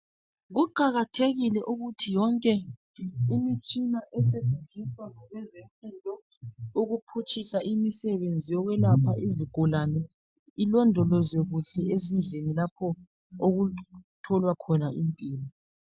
Kuqakathekile ukuthi yonke imitshina esetshenziswa ngabezempilo ukuphutshisa imisebenzi yonke yokwelapha izigulane ilondolozwe kuhle ezindlini lapho okutholwa khona impilo.